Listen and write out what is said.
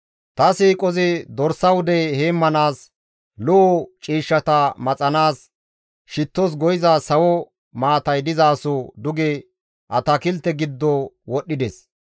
«Ta siiqozi dorsa wude heemmanaas lo7o ciishshata maxanaas shittos go7iza sawo maatay dizaso duge atakilte giddo wodhdhides.